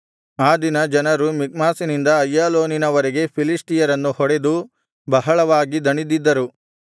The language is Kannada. ಆ ದಿನ ಜನರು ಮಿಕ್ಮಾಷಿನಿಂದ ಅಯ್ಯಾಲೋನಿನ ವರೆಗೆ ಫಿಲಿಷ್ಟಿಯರನ್ನು ಹೊಡೆದು ಬಹಳವಾಗಿ ದಣಿದಿದ್ದರು